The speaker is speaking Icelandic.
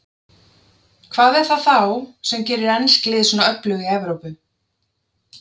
Hvað er það þá sem gerir ensk lið svona öflug í Evrópu?